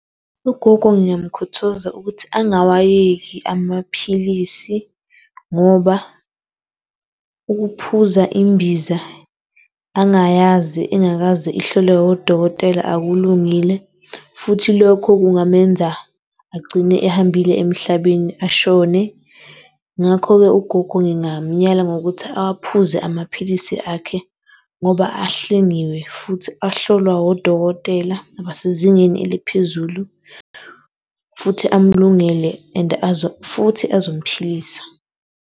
Ugogo ngiyamkhuthaza ukuthi angawayeki amaphilisi ngoba ukuphuza imbiza angayazi engakaze ihlolelwe wodokotela akulungile futhi lokho kungamenza agcine ehambile emhlabeni ashone. Ngakho-ke, ugogo ngingamyala ngokuthi awaphuze amaphilisi akhe ngoba ahlengiwe futhi ahlolwa wodokotela abasezingeni eliphezulu futhi amulungele and futhi azomphilisa.